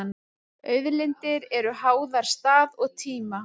Auðlindir eru háðar stað og tíma.